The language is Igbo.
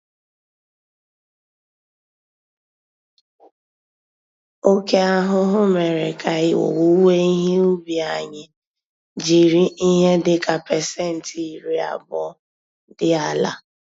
Oke ahụhụ mèrè ka owuwe ihe ubi anyị jiri Ihe dịka percent iri-abụọ dị àlà.